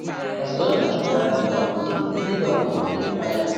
Barcelona achụpụla Lyon mm!, Liverpool meriri Bayern.